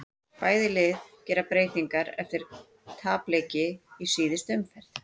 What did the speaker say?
Bæði lið gera breytingar eftir tapleiki í síðustu umferð.